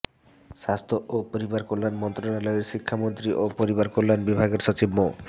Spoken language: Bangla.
স্বাস্থ্য ও পরিবারকল্যাণ মন্ত্রণালয়ের স্বাস্থ্যশিক্ষা ও পরিবারকল্যাণ বিভাগের সচিব মো